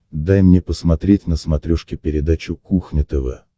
дай мне посмотреть на смотрешке передачу кухня тв